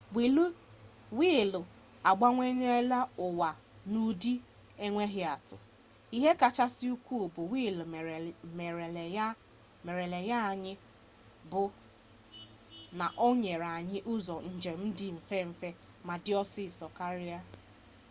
wiilu agbanweela ụwa n'ụdị enweghị atụ ihe kachasị ukwu nke wiilu merela anyị bụ na o nyere anyị ụzọ njem dị mfe ma dị ọsịsọ karịa